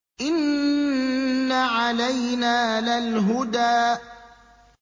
إِنَّ عَلَيْنَا لَلْهُدَىٰ